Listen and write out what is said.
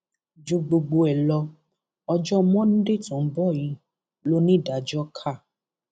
ju gbogbo ẹ lọ ọjọ monde tó ń bọ yìí lonídàájọ ka